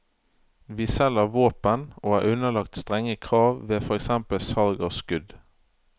Vi selger våpen og er underlagt strenge krav ved for eksempel salg av skudd.